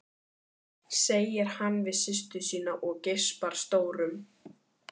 segir hann við systur sína og geispar stórum.